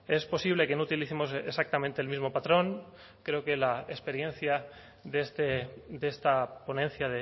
es posible que no utilicemos exactamente el mismo patrón creo que la experiencia de esta ponencia